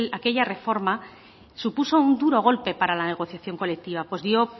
aquella reforma supuso un dura golpe para la negociación colectiva pues dio